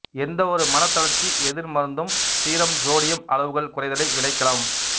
எந்தவொரு மனத் தளர்ச்சி எதிர்மருந்தும் சீரம் சோடியம் அளவுகள் குறைதலை விளைக்கலாம்